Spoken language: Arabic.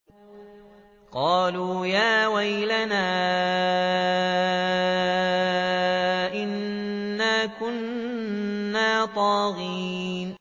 قَالُوا يَا وَيْلَنَا إِنَّا كُنَّا طَاغِينَ